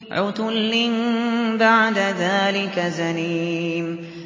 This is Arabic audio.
عُتُلٍّ بَعْدَ ذَٰلِكَ زَنِيمٍ